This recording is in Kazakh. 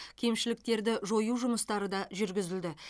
кемшіліктерді жою жұмыстары да жүргізілді